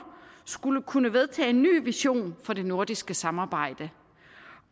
skulle kunne vedtage en ny vision for det nordiske samarbejde